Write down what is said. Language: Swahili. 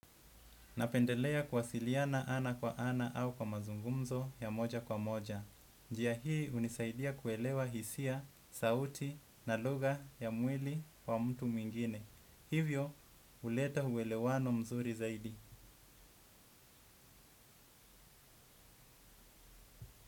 Napendelea kuwasiliana ana kwa ana au kwa mazungumzo ya moja kwa moja. Njia hii hunisaidia kuelewa hisia, sauti na lugha ya mwili wa mtu mwingine. Hivyo, huleta uwelewano mzuri zaidi.